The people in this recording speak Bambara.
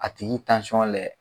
A tigi layɛ